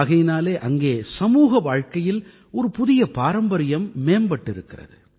ஆகையினாலே அங்கே சமூக வாழ்க்கையில் ஒரு புதிய பாரம்பரியம் மேம்பட்டிருக்கிறது